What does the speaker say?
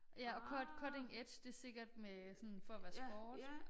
Ja og cutting edge det sikkert med sådan for at være sport